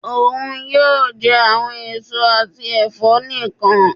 Oun yoo jẹ awọn eso ati ẹfọ nikan.